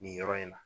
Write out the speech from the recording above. Nin yɔrɔ in na